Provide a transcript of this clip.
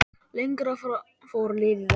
Lengra fór liðið ekki.